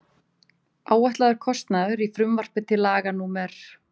Áætlaður kostnaður Í frumvarpi til laga númer